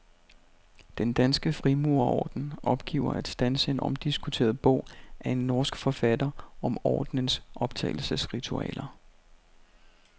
Den danske frimurerorden opgiver at standse en omdiskuteret bog af en norsk forfatter om ordnens optagelsesritualer.